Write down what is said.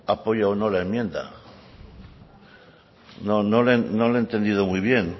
apoya o no la enmienda no le he entendido muy bien